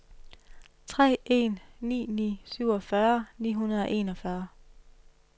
tre en ni ni syvogfyrre ni hundrede og enogfyrre